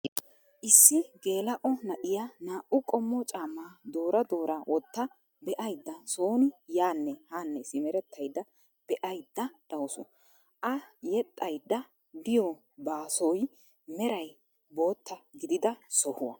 Issi geela'o na'iyaa naa"u qommo caammaa doora doora wotta be'aydda sooni yaanne haanne simerettayda be'aydda de'awusu. A yedhdhaydd a diyoo baasoy meray bootta giidida sohuwaa.